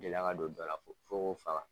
Gɛlɛya ka don dɔ la fo fo k'o faga.